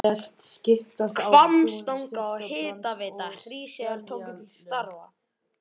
Hvammstanga og Hitaveita Hríseyjar tóku til starfa.